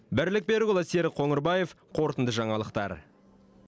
бірлік берікұлы серік қоңырбаев қорытынды жаңалықтар